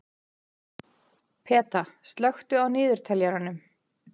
Peta, slökktu á niðurteljaranum.